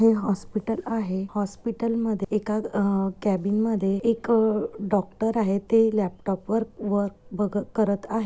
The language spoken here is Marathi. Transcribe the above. हे हॉस्पिटल आहे हॉस्पिटल मध्ये एका कॅबिन मध्ये एक डॉक्टर आहेत ते लॅपटॉप वर वर्क बघ करत आहेत.